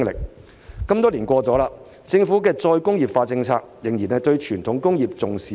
事隔多年，政府的再工業化政策，對傳統工業仍然重視不足。